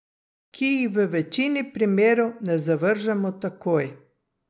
Ki jih v večini primerov ne zavržemo takoj.